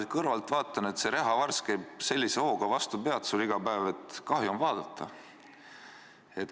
Ma kõrvalt vaatan, et rehavars käib vastu su pead iga päev sellise hooga, et kahju on pealt vaadata.